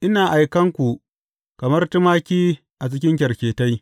Ina aikan ku kamar tumaki a cikin kyarketai.